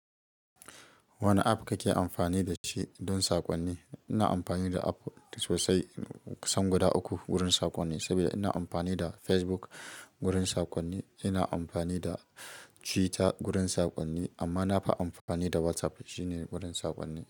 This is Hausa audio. Wane app kake amfani da shi don saƙonni? Ina amfani da app sosai, sam guda uku gurin saƙonni, saboda ina amfani da Facebook gurin saƙonni, ina amfani da Twitter gurin saƙonni, amma na fi amfani da WhatsApp shi ne gurin saƙonni.